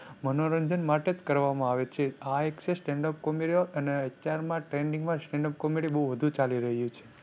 મનોરંજન માટે જ કરવામાં આવે છે. આ stand up comedy અને અત્યારમાં trending માં stand up comedy બહુ વધુ ચાલી રહ્યું છે.